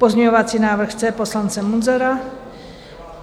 Pozměňovací návrh C poslance Munzara.